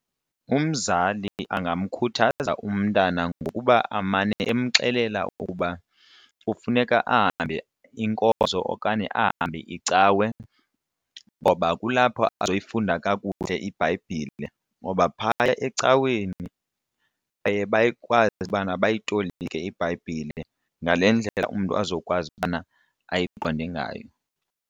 Umzali angamkhuthaza umntana ngokuba amane amxelela ukuba kufuneka ahambe inkozo okanye ahambe icawe ngoba kulapho azoyifunda kakuhle iBhayibhile ngoba phaya ecaweni baye bakwazi ubana bayitolike iBhayibhile ngale ndlela umntu azokwazi ukubana ayiqonde ngayo.